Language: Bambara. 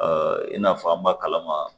i n'a fɔ an ba kalama